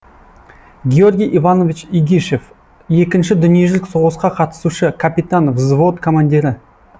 георгий иванович игишев екінші дүниежүзілік соғысқа қатысушы капитан взвод командирі